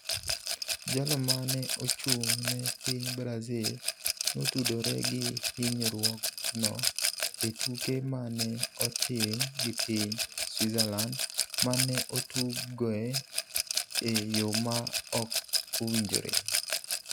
Jalo ma ne ochung’ ne piny Brazil notudore gi hinyruokno e tuke ma ne otim gi piny Switzerland ma ne otugoe e yo ma ok owinjore.